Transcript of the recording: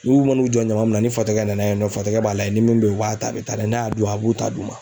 N'u man'u jɔ ɲama min na ni fatɔkɛ nana a jɔ yen nɔ fatɔkɛ b'a lajɛ ni min bɛ yen a b'a ta a bɛ taa n'a y'a dun a b'u ta d'u ma